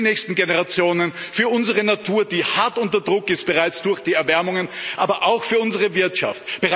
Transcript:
Für die nächsten Generationen, für unsere Natur, die hart unter Druck ist bereits durch die Erwärmungen aber auch für unsere Wirtschaft.